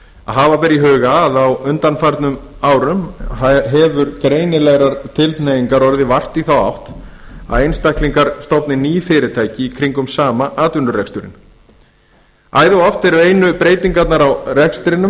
að hafa beri í huga að á undanförnum árum hefur greinilegrar tilhneigingar orðið vart í þá átt að einstaklingar stofni ný fyrirtæki í kringum sama atvinnureksturinn æðioft eru einu breytingarnar á rekstrinum